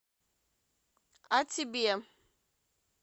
а тебе